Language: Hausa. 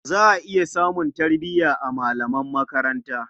Za a iya samun tarbiya a malaman makaranta.